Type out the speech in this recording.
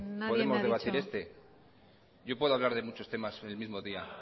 podemos debatir este yo puedo hablar de muchos temas el mismo día